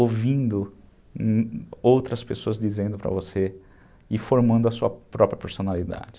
ouvindo outras pessoas dizendo para você e formando a sua própria personalidade.